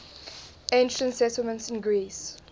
ancient settlements in greece